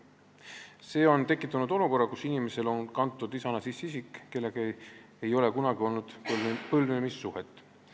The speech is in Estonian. See on tekitanud olukorra, kus inimesel on kantud isana sisse isik, kellega tal ei ole kunagi olnud põlvnemissuhet.